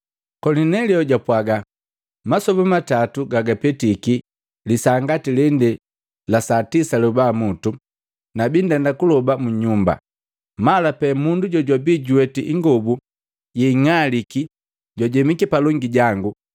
Kolinelio japwaga, “Masoba gatatu gagapetiki, lisaa ngati lele, la tisa lyoba mutu, nabi ndenda kuloba mu nyumba. Mala pee, mundu jojwabi juweti ingobu yeing'aliki jwajemiki palongi jangu,